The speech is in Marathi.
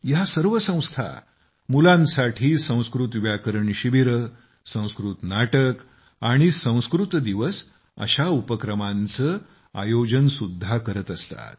या सर्व संस्था मुलांसाठी संस्कृत व्याकरण शिबिरे संस्कृत नाटक आणि संस्कृत दिवस अशा उपक्रमांचे आयोजन सुद्धा करत असतात